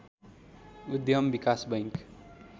उद्यम विकास बैंक